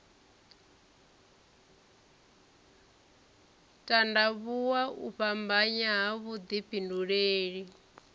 tandavhuwa u fhambanya ha vhudifhinduleli